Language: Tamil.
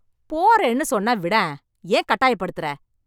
போறேன்னு சொன்னா விடேன்... ஏன் கட்டாயப்படுத்துற...